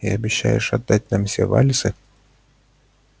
и обещаешь отдать нам все вальсы